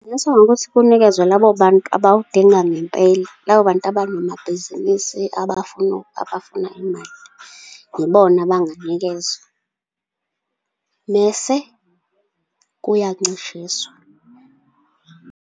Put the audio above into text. Kungasetshenziswa ngokuthi kunikezwe labo bantu abawudinga ngempela, labo bantu abanamabhizinisi, abafuna imali. Ibona abanganikezwa, mese kuyancishiswa.